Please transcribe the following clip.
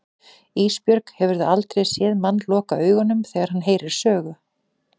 Ísbjörg, hefurðu aldrei séð mann loka augunum þegar hann heyrir sögu?